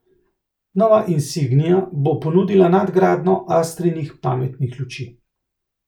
Nova insignia bo ponudila nadgradnjo astrinih pametnih luči.